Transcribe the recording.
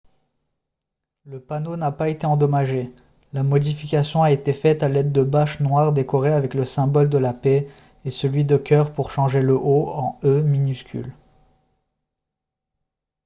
le panneau n’a pas été endommagé ; la modification a été faite à l’aide de bâches noires décorées avec le symbole de la paix et celui de cœur pour changer le « o » en « e » minuscule